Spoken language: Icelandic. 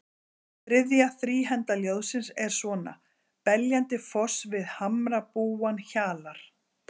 Þriðja þríhenda ljóðsins er svona: Beljandi foss við hamrabúann hjalar